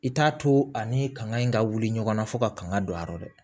I t'a to a ni kanŋa in ka wuli ɲɔgɔnna fo ka kan ka don a yɔrɔ dɛ